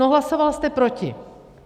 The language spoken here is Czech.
No, hlasoval jste proti.